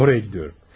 Oraya gidiyorum.